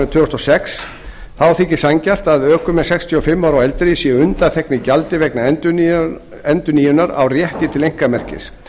tvö þúsund og sex þá þykir sanngjarnt að ökumenn sextíu og fimm ára og eldri séu undanþegnir gjaldi vegna endurnýjunar á rétti til einkamerkis